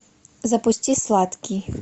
запусти сладкий